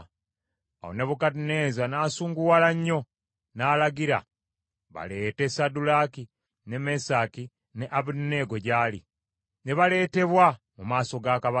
Awo Nebukadduneeza n’asunguwala nnyo n’alagira baleete Saddulaaki, ne Mesaki ne Abeduneego gy’ali; ne baleetebwa mu maaso ga kabaka.